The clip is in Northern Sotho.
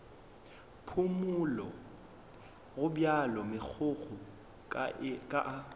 phumole gobjalo megokgo ka a